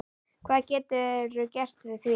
Hvað geturðu gert við því?